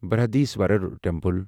Brihadeeswarar temple